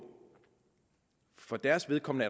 for deres vedkommende